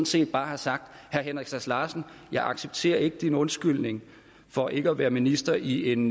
set bare have sagt herre henrik sass larsen jeg accepterer ikke din undskyldning for ikke at være minister i en